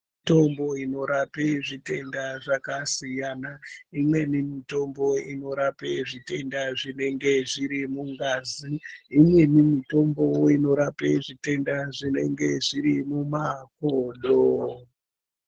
Mitombo inorape zvitenda zvakasiyana. Imweni mitombo inorape zvitenda zvinenge zviri mungazi. Imweni mitombo inorape zvitenda zvinenge zviri mumakodo.